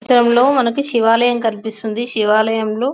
ఈ చిత్రంలో మనకు శివాలయం కనిపిస్తుంది. శివాలయం లో --